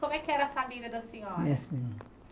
Como é que era a família da senhora?